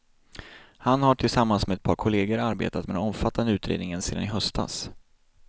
Han har tillsammans med ett par kollegor arbetat med den omfattande utredningen sedan i höstas.